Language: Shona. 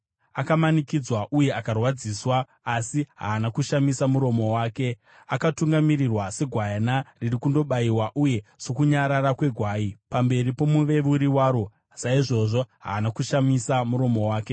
Akamanikidzwa uye akarwadziswa, asi haana kushamisa muromo wake; akatungamirirwa segwayana riri kundobayiwa, uye sokunyarara kwegwai pamberi pomuveuri waro, saizvozvo haana kushamisa muromo wake.